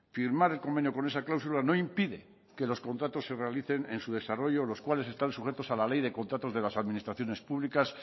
firmar el convenio con esa cláusula no impide que los contratos se realicen en su desarrollo los cuales están sujetos a la ley de contratos de las administraciones públicas